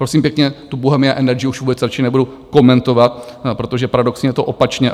Prosím pěkně, tu Bohemia Energy už vůbec radši nebudu komentovat, protože paradoxně je to opačně.